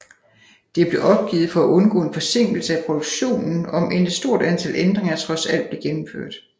Det blev opgivet for at undgå en forsinkelse af produktionen om end et stort antal ændringer trods alt blev gennemført